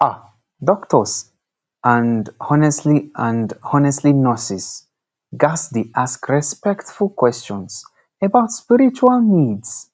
ah doctors and honestly and honestly nurses ghats dey ask respectful questions about spiritual needs